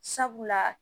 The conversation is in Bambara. Sabula